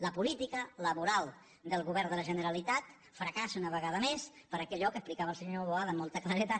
la política laboral del govern de la generalitat fracassa una vegada més per allò que explicava el senyor boada amb molta claredat